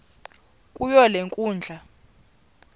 kuyo le nkundla